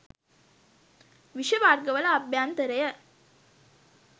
විෂ වර්ග වල අභ්‍යන්තරය